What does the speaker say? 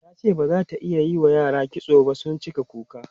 tace bazata iyawa yara kitso ba sun cika kuka.